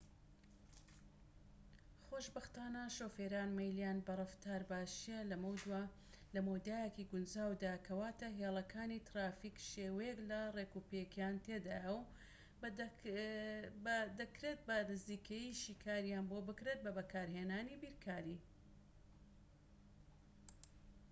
خۆشبەختانە شۆفێران مەیلیان بە ڕەفتار باشیە لە مەودایەکی گونجاودا کەواتە هێڵەکانی ترافیك شێوەیەك لە ڕێکوپێکیان تێدایە و بە دەکرێت بە نزیکەیی شیکارییان بۆ بکرێت بە بەکارهێنانی بیرکاری